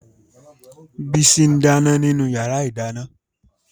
Bísí n dáná nínú yàrá-ìdáná